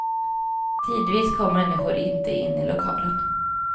Tidvis kom människor inte in i lokalen.